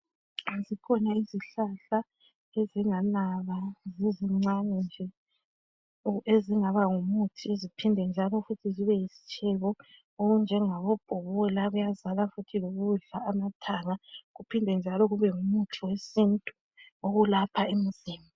Zikhona izihlahla ezinganaba zizincane nje ezingabangu muthi ziphinde njalo futhi zibe yisitshebo. Okunjengabo bhobola kuyazala futhi lokudla amathanga kuphinde njalo kube ngumuthi wesintu okulapha imizimba.